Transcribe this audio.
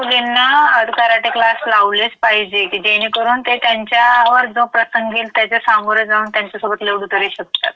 हो ते आपण घेतले पाहिजे. आणि आजकालच्या सर्व्या मुलींना कराटे क्लास लावलेच पाहिजे की जेणेकरून ते त्यांच्यावर जो प्रसंग येईल त्याच्या सोमोरं जाऊन त्यांच्यासोबत लढू तरी शकतात.